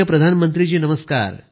प्रधानमंत्रीः वणक्कम वणक्कम